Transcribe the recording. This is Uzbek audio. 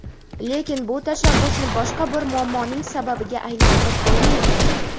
lekin bu tashabbusni boshqa bir muammoning sababiga aylantirib qo‘ymaylik.